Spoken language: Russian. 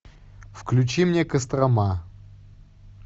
включи мне кострома